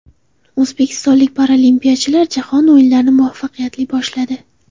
O‘zbekistonlik paralimpiyachilar Jahon o‘yinlarini muvaffaqiyatli boshladi.